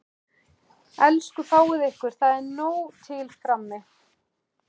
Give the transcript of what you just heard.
Elsku fáið ykkur, það er nóg til frammi.